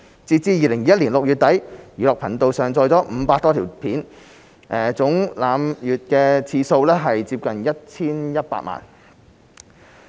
截至2021年6月底，"寓樂頻道"上載了500多條影片，總瀏覽次數接近 1,100 萬。